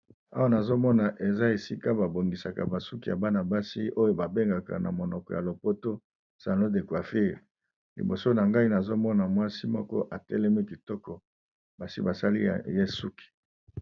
Awa nazomona eza esika babongisaka basuki ya bana basi oyo babengaka na monoko ya lopoto salon de coiffure liboso na ngai nazomona mwasi moko atelemi kitoko basi basali ye suki.